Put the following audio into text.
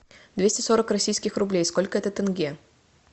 двести сорок российских рублей сколько это тенге